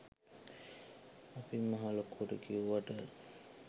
අපි මහලොකුවට කියෙව්වට